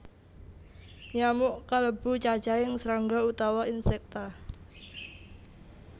Nyamuk kalebu cacahing srangga utawa Insecta